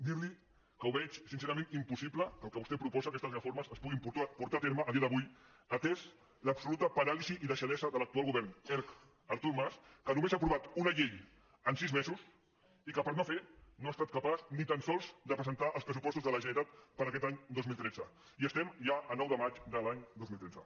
dir·li que veig sincerament impossible que el que vostè proposa aquestes reformes es puguin portar a terme avui en dia atesa l’absoluta paràlisi i deixadesa de l’actual go·vern erc · artur mas que només ha aprovat una llei en sis mesos i que per no fer no ha estat capaç ni tan sols de presentar els pressupostos de la generalitat per a aquest any dos mil tretze i som ja a nou de maig de l’any dos mil tretze